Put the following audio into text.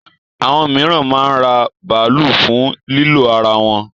Àwọn míràn máa ń ra bàálù fún lílò ara wọn.